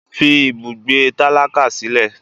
fí ibùgbé tálákà sílẹ!